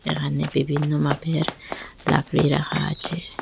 এখানে বিভিন্ন মাপের লাকড়ি রাখা আছে।